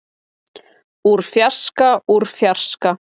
úr fjarska úr fjarska.